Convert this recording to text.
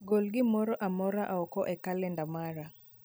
Gol gimoro amora oko e kalenda mara.